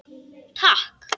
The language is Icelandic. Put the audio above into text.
Takk